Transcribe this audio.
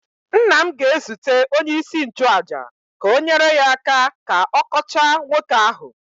nna m ga-ezute onyeisi nchụaja ka o nyere ya aka ka ọ kọchaa nwoke ahụ